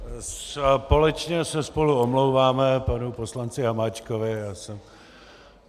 Společně se spolu omlouváme panu poslanci Hamáčkovi.